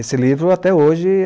Esse livro até hoje